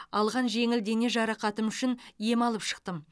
алған жеңіл дене жарақатым үшін ем алып шықтым